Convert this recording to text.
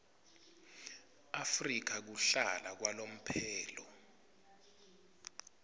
afrika kuhlala kwalomphelo